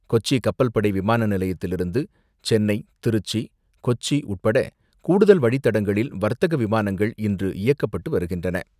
கொச்சி கப்பல்படை விமான நிலையத்திலிருந்து சென்னை, திருச்சி, கொச்சி உட்பட கூடுதல் வழித்தடங்களில் வர்த்தக விமானங்கள் இன்று இயக்கப்பட்டு வருகின்றன.